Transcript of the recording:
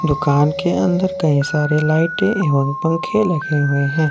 दुकान के अंदर कई सारे लाइटे एवं पंखे लगे हुए हैं।